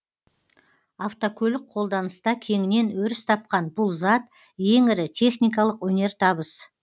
автокөлік қолданыста кеңінен өріс тапқан бұл зат ең ірі техникалық өнертабыс